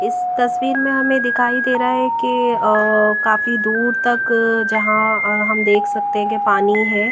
इस तस्वीर में हमें दिखाई दे रहा है कि अं काफी दूर तक जहां हम देख सकते हैं की पानी है।